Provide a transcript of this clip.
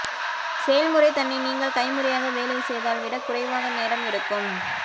செயல்முறை தன்னை நீங்கள் கைமுறையாக வேலை செய்தால் விட குறைவாக நேரம் எடுக்கும்